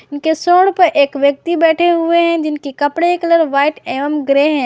उनके सूंड प एक व्यक्ति बैठे हुए हैं जिनके कपड़े कलर व्हाइट एवं ग्रे हैं।